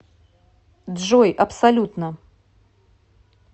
джой абсолютно